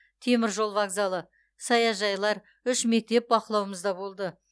теміржол вокзалы саяжайлар үш мектеп бақылауымызда болды